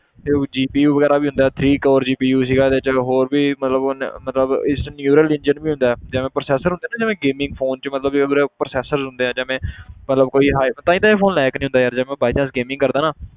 ਤੇ ਉਹ GPU ਵਗ਼ੈਰਾ ਵੀ ਹੁੰਦਾ ਹੈ three core GPU ਸੀਗਾ ਇਹਦੇ 'ਚ, ਹੋਰ ਵੀ ਮਤਲਬ ਹੁਣ ਮਤਲਬ ਇਸ 'ਚ neural engine ਵੀ ਹੁੰਦਾ ਹੈ ਜਿਵੇਂ processor ਹੁੰਦੇ ਨਾ ਜਿਵੇਂ gaming phone 'ਚ ਮਤਲਬ ਜਿਵੇਂ ਦੇ processor ਹੁੰਦੇ ਆ ਜਿਵੇਂ ਮਤਲਬ ਕੋਈ ਜੇ ਮੈਂ by chance gaming ਕਰਦਾਂ ਨਾ,